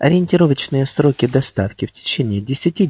ориентировочные сроки доставки в течении десяти